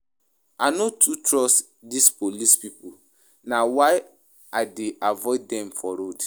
I no too trust dese police pipo na why I dey avoid dem for road.